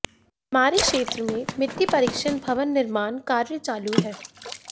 हमारे क्षेत्र मे मिटट्ी परीक्षण भवन निर्माण कार्य चालू है